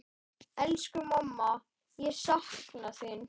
Elsku mamma, ég sakna þín.